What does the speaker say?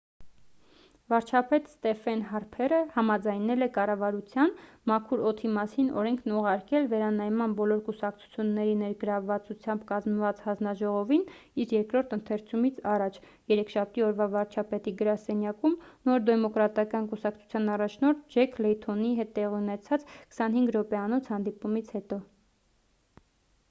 վարչապետ ստեֆեն հարփերը համաձայնել է կառավարության 'մաքուր օդի մասին' օրենքն ուղարկել վերանայման բոլոր կուսակցությունների ներգրավվածությամբ կազմված հանձնաժողովին իր երկրորդ ընթերցումից առաջ երեքշաբթի օրվա վարչապետի գրասենյակում նոր դեմոկրատական կուսակցության առաջնորդ ջեք լեյթոնի հետ տեղի ունեցած 25 րոպեանոց հանդիպումից հետո